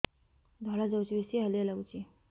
ଧଳା ଯାଉଛି ବେଶି ହାଲିଆ ଲାଗୁଚି